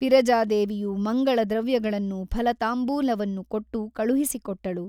ವಿರಜಾದೇವಿಯು ಮಂಗಳ ದ್ರವ್ಯಗಳನ್ನೂ ಫಲತಾಂಬೂಲವನ್ನು ಕೊಟ್ಟು ಕಳುಹಿಸಿಕೊಟ್ಟಳು.